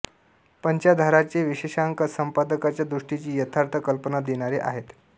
पंचाधाराचे विशेषांक संपादकांच्या दृष्टीची यथार्थ कल्पना देणारे आहेत